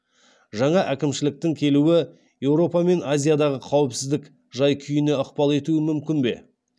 жаңа әкімшіліктің келуі еуропа мен азиядағы қауіпсіздік жай күйіне ықпал етуі мүмкін бе